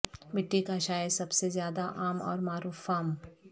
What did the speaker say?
مٹی کا شاید سب سے زیادہ عام اور معروف فارم